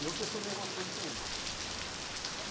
E eu questionei alguma coisa com eles. E